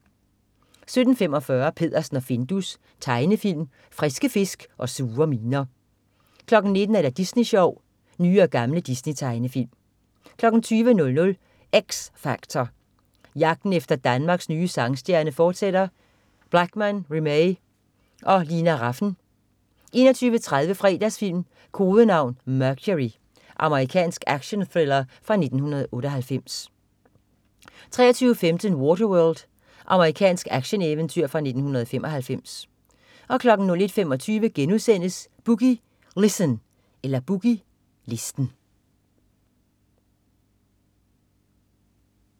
17.45 Peddersen og Findus. Tegnefilm. Friske fisk og sure miner 19.00 Disney Sjov. Nye og gamle Disney-tegnefilm 20.00 X Factor. Jagten efter Danmarks nye sangstjerne fortsætter. Blachman, Remee og Lina Rafn 21.30 Fredagsfilm: Kodenavn: Mercury. Amerikansk action-thriller fra 1998 23.15 Waterworld. Amerikansk action-eventyr fra 1995 01.25 Boogie Listen*